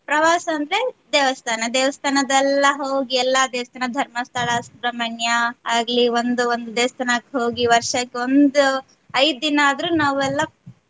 ಪ್ರವಾಸ ಅಂದ್ರೆ ದೇವಸ್ಥಾನ ದೇವಸ್ಥಾನದೆಲ್ಲಾ ಹೋಗಿ ಎಲ್ಲ ದೇವಸ್ಥಾನ ಧರ್ಮಸ್ಥಳ, ಸುಬ್ರಹ್ಮಣ್ಯ ಆಗ್ಲಿ ಒಂದು ಒಂದು ದೇವಸ್ಥಾನಕ್ ಹೋಗಿ ವರ್ಷಕ್ಕೊಂದು ಐದು ದಿನಾದ್ರೂ ನಾವೆಲ್ಲಾ.